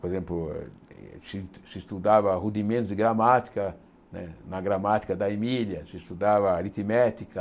Por exemplo, se se estudava rudimentos de gramática né, na gramática da Emília, se estudava aritmética.